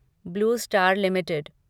blue Star limited